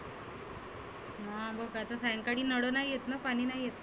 हं मग सायंकाळी नळ नाही येतना पाणि नाही येत ना.